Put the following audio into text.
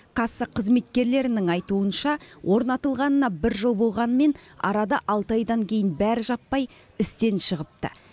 касса қызметкерлерінің айтуынша орнатылғанына бір жыл болғанымен арада алты айдан кейін бәрі жаппай істен шығыпты